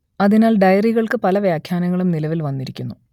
അതിനാൽ ഡയറികൾക്ക് പല വ്യാഖ്യാനങ്ങളും നിലവിൽ വന്നിരിക്കുന്നു